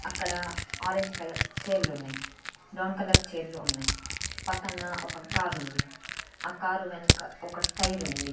అక్కడ orange colour chair లు ఉన్నాయి బ్రౌన్ కలర్ చైర్ లు ఉన్నాయ్ పక్కన ఒక కారు ఉంది ఆ కార్ వెనక ఒక టైరు ఉంది.